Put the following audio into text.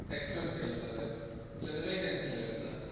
experience ಕೇಳ್ತಾರೆ, ಇಲ್ಲಾದ್ರೆ vacancy ಇಲ್ಲ ಹೇಳ್ತಾರೆ.